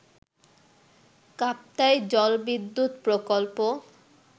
কাপ্তাই জলবিদ্যুৎ প্রকল্প